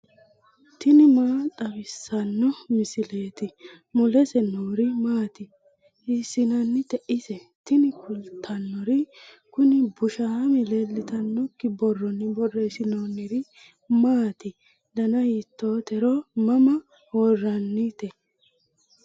tini maa xawissanno misileeti ? mulese noori maati ? hiissinannite ise ? tini kultannori kuni bushamme leeltannokki borronni borreessinoonniri maati dana hiitooreeti mama worrannireeti